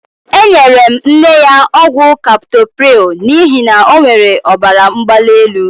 Enyere m nne ya ọgwụ kaptoprịl n'ihi na ọ nwere ọbaramgbalielu.